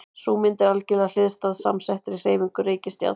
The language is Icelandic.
Sú mynd er algerlega hliðstæð samsettri hreyfingu reikistjarnanna.